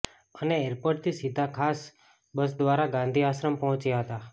અને એરપોર્ટથી સીધા ખાસ બસ દ્વારા ગાંધી આશ્રમ પહોંચ્યા હતા